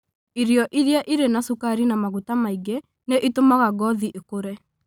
Irio iria irĩ na cukari na maguta maingĩ nĩ itũmaga ngothi ikũre.